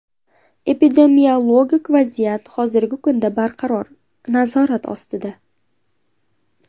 Epidemiologik vaziyat hozirgi kunda barqaror, nazorat ostida.